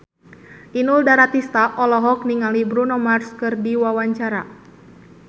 Inul Daratista olohok ningali Bruno Mars keur diwawancara